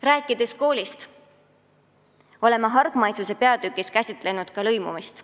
Rääkides koolist, oleme hargmaisuse peatükis käsitlenud ka lõimumist.